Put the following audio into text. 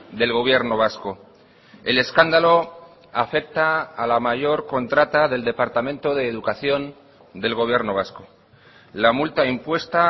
del gobierno vasco el escándalo afecta a la mayor contrata del departamento de educación del gobierno vasco la multa impuesta a